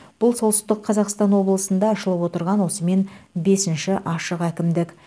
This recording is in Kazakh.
бұл солтүстік қазақстан облысында ашылып отырған осымен бесінші ашық әкімдік